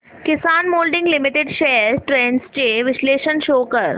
किसान moulding limited shares trends चे विश्लेषण show कर